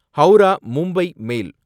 Howrah Mumbai mail